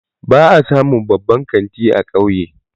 Ba a samun babban kanti a kauye